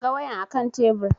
Na ga wayan a kan tebur